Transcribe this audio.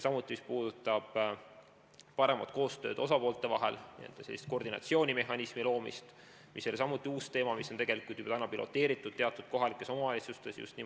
Samuti, mis puudutab paremat koostööd osapoolte vahel, n-ö sellist koordinatsioonimehhanismi loomist, mis ei ole samuti uus teema, siis seda on tegelikult juba teatud kohalikes omavalitsustes katsetatud.